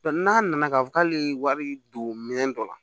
n'a nana k'a fɔ k'ale wari don minɛn dɔ la